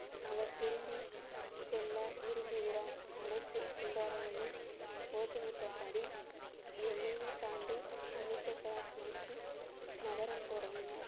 அவர் திரும்பி செல்ல விரும்புகிறார் அனைத்து கோஷமிட்டபடி எல்லையை தாண்டி அமிர்தசரசு நோக்கி நகரத் தொடங்கினர்